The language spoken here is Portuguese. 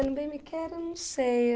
Bem me Quer, eu não sei.